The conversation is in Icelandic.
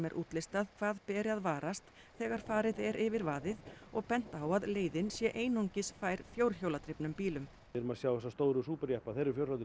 er útlistað hvað beri að varast þegar farið er yfir vaðið og bent á að leiðin sé einungis fær fjórhjóladrifnum bílum við erum að sjá þessa stóru jeppa